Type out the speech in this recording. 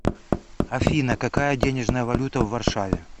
афина какая денежная валюта в варшаве